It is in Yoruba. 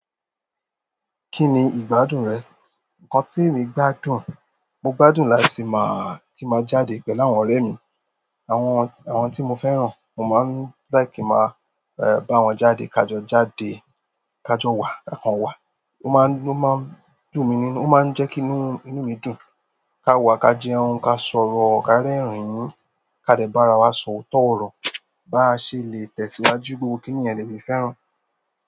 Kí ni ìgbàdun rẹ? Ǹkan tíì èmi gbádùn, mo gbádùn láti máa, kin má jáde pẹ̀lú àwọn oremi, àwọn tii mo fẹ́ràn. Mo máa ń like kí máa báwọn jáde kajo jáde kajowa, ka kan wa. O máa ń, o máa ń dùn mi nínú, o máa ń jẹ́ kí inú mi dùn. Ka wa ka jẹun, ka sọ̀rọ̀, ka rẹ́rìn ká de barawa so otooro, basele tẹ̀síwájú, gbogbo kíni yẹn lemi fẹ́ràn.